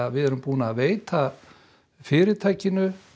við erum búin að veita fyrirtæki